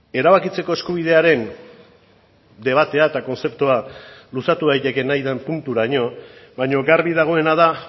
erabakitzeko eskubidearen debatea eta kontzeptua luzatu daiteke nahi den punturaino baina garbi dagoena da